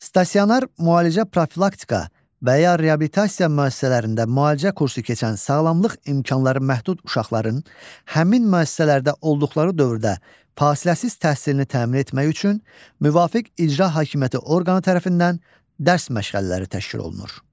Stasionar müalicə, profilaktika və ya reabilitasiya müəssisələrində müalicə kursu keçən sağlamlıq imkanları məhdud uşaqların həmin müəssisələrdə olduqları dövrdə fasiləsiz təhsilini təmin etmək üçün müvafiq icra hakimiyyəti orqanı tərəfindən dərs məşğələləri təşkil olunur.